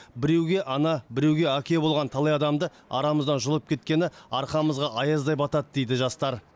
біреуге ана біреуге әке болған талай адамды арамыздан жұлып кеткені арқамызға аяздай батады дейді жастар